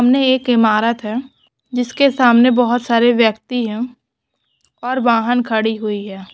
हमने एक इमारत है जिसके सामने बहुत सारे व्यक्ति हैं। और वहांन खड़ी हुई है।